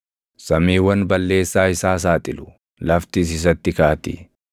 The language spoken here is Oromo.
Samiiwwan balleessaa isaa saaxilu; laftis isatti kaati.